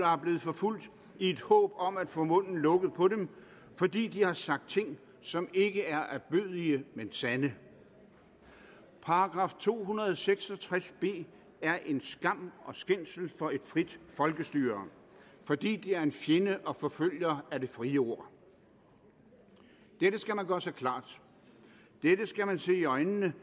er blevet forfulgt i et håb om at få munden lukket på dem fordi de har sagt ting som ikke er ærbødige men sande § to hundrede og seks og tres b er en skam og skændsel for et frit folkestyre fordi det er en fjende og forfølger af det frie ord dette skal man gøre sig klart dette skal man se i øjnene